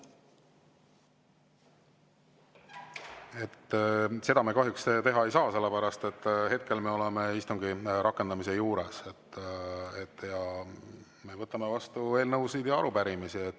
Seda me kahjuks teha ei saa, sellepärast et hetkel me oleme istungi rakendamise juures ja me võtame vastu eelnõusid ja arupärimisi.